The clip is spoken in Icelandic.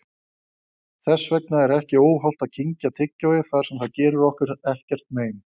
Þess vegna er ekki óhollt að kyngja tyggjói þar sem það gerir okkur ekkert mein.